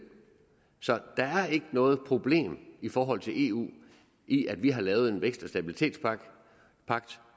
så der er ikke noget problem i forhold til eu i at vi har lavet en stabilitets